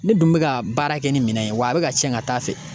Ne dun bɛ ka baara kɛ ni minɛn ye, wa a bɛ ka tiɲɛ ka taa fɛ.